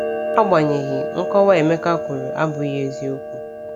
Agbanyeghị, nkọwa Emeka kwuru abụghị eziokwu.